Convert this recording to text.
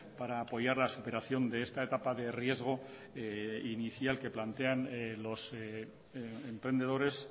para apoyar la superación de esta etapa de riesgo inicial que plantean los emprendedores